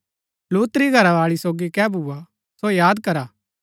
लूत री घरावाळी सोगी कै भूआ सो याद करा